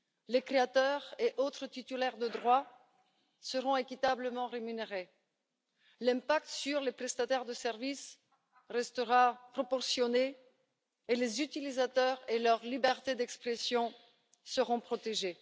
Les créateurs et autres titulaires de droits seront équitablement rémunérés, l'impact sur les prestataires de services restera proportionné et les utilisateurs et leur liberté d'expression seront protégés.